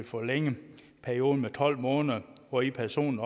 forlænget perioden på tolv måneder hvori personen